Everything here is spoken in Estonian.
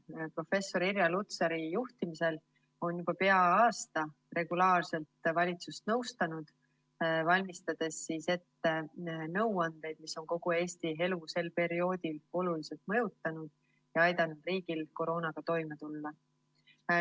Nad on professor Irja Lutsari juhtimisel juba pea aasta regulaarselt valitsust nõustanud, valmistades ette nõuandeid, mis on kogu Eesti elu sel perioodil oluliselt mõjutanud ja aidanud riigil koroonaga toime tulla.